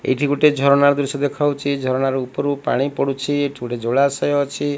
ଏଇଠି ଗୋଟେ ଝରଣା ର ଦୃଶ୍ୟ ଦେଖାଯାଉଛି ଝରଣା ର ଉପରୁ ପାଣି ପଡୁଛି ଏଠି ଗୋଟେ ଜଳାଶୟ ଅଛି।